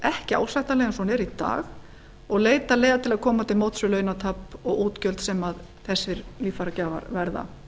ekki ásættanleg eins og hún er í dag og leita leiða til að koma til móts við launatap og útgjöld sem þessir líffæragjafar verða